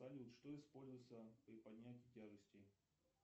салют что используется при поднятии тяжестей